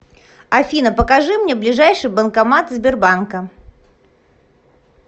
афина покажи мне ближайший банкомат сбербанка